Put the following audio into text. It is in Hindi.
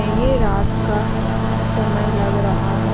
ये रात का समय लग रहा है।